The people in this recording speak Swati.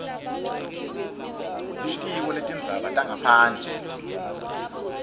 litiko letindzaba tangaphandle